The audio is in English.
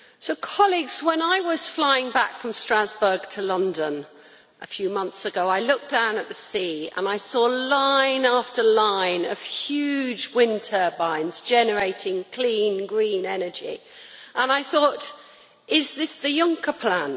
Madam President, when I was flying back from Strasbourg to London a few months ago, I looked down at the sea and I saw line after line of huge wind turbines, generating clean, green energy, and I thought is this the Juncker plan?